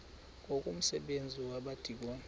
ngoku umsebenzi wabadikoni